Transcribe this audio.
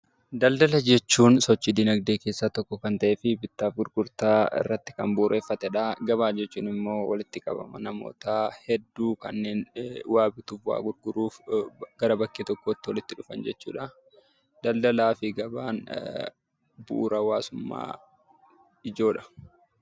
Daldala jechuun sochii dinagdee keessaa tokko kan ta'ee fi bittaa fi gurgurtaa irratti kan bu'uureffatedha. Gabaa jechuun ammoo walitti qabama namoota hedduu kanneen waa bituuf waa gurguruuf gara bakkee tokkootti walitti qabaman jechuudha. Daldalaa fi gabaan bu'uura hawaasummaa ijoodha.